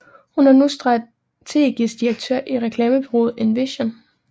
Hun er nu strategisk direktør i reklamebureauet Envision